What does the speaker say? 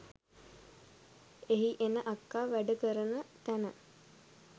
එහි එන අක්කා වැඩ කරන තැන